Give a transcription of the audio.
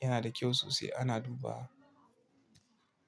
yanada kyau sosai ana dubawa.